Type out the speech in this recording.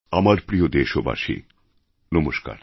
আমার প্রিয় দেশবাসী নমস্কার